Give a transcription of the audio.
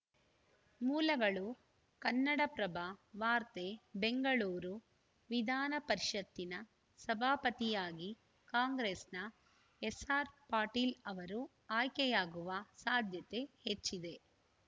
ಮೂಲಗಳು ಕನ್ನಡಪ್ರಭ ವಾರ್ತೆ ಬೆಂಗಳೂರು ವಿಧಾನಪರಿಷತ್ತಿನ ಸಭಾಪತಿಯಾಗಿ ಕಾಂಗ್ರೆಸ್‌ನ ಎಸ್‌ಆರ್‌ ಪಾಟೀಲ್‌ ಅವರು ಆಯ್ಕೆಯಾಗುವ ಸಾಧ್ಯತೆ ಹೆಚ್ಚಿದೆ